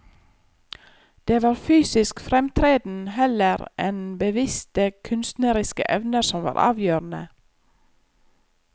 Det var fysisk fremtreden heller enn bevisste kunstneriske evner som var avgjørende.